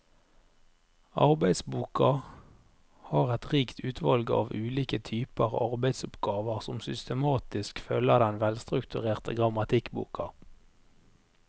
Arbeidsboka har et rikt utvalg av ulike typer arbeidsoppgaver som systematisk følger den velstrukturerte grammatikkboka.